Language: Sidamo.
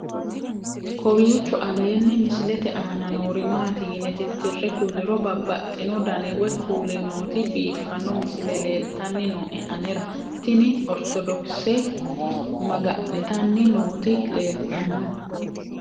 kowiicho aleenni misilete aana noori maati yine titire kulliro babaxino dani woy kuuli nooti biiffanno misile leeltanni nooe anera tino ortodokise maga'nitanni nooti leeltanno